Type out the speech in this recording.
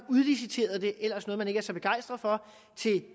udliciteret det ellers noget man ikke er så begejstret for til